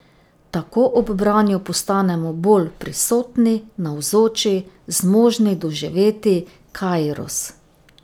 Tako ob branju postanemo bolj prisotni, navzoči, zmožni doživeti kairos.